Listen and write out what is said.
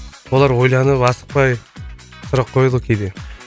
олар ойланып асықпай сұрақ қояды ғой кейде